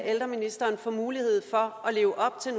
ældreministeren få mulighed for at leve op til